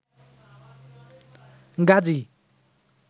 Gazi